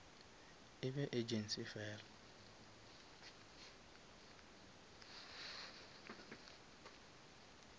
e be agency fela